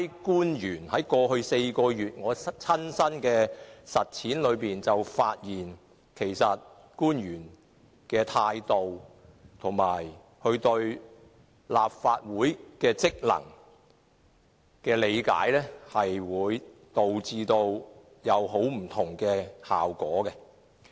據我過去4個月的親身實踐，我從兩批官員身上發現，官員的態度和他們對立法會職能的理解，實際上導致很多不同的效果。